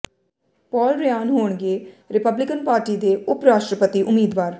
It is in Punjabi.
ਪਾਲ ਰਿਆਨ ਹੋਣਗੇ ਰੀਪਬਲੀਕਨ ਪਾਰਟੀ ਦੇ ਉਪ ਰਾਸ਼ਟਰਪਤੀ ਉਮੀਦਵਾਰ